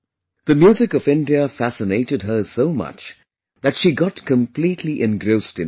The music of India fascinated her so much that she got completely engrossed in it